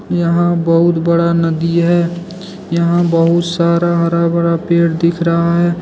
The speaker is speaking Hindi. यहां बहुत बड़ा नदी है यहां बहुत सारा हरा भरा पेड़ दिख रहा है।